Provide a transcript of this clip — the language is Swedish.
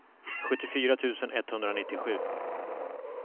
sjuttiofyra tusen etthundranittiosju